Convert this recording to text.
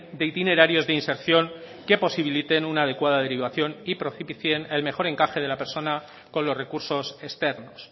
de itinerarios de inserción que posibiliten una adecuada derivación y propicien el mejor encaje de la persona con los recursos externos